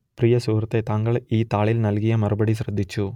പ്രിയ സുഹൃത്തേ താങ്കൾ ഈ താളിൽ നൽകിയ മറുപടി ശ്രദ്ധിച്ചു